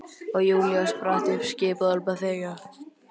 Og Júlía spratt upp, skipaði honum að þegja.